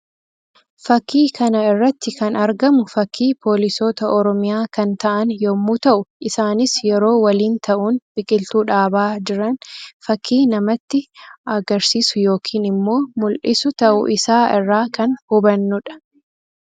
Fakkii kana irratti kan argamu fakkii poolisoota Oromiyaa kan ta'an yammuu ta'u; isaanis yeroo waliin ta'uun biqiltuu dhaabaa jiran fakkii namatti agrsiisuu yookiin immoo mul'isuu ta'uu isaa irraa kan hubanuu dha.